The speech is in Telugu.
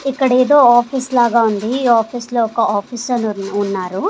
ఇక్కడ ఏదో ఆఫీస్ లాగా ఉంది ఈ ఆఫీస్ లో ఒక ఆఫీసర్ ఉన్నారు.